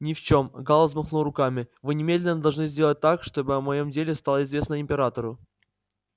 ни в чём гаал взмахнул руками вы немедленно должны сделать так чтобы о моём деле стало известно императору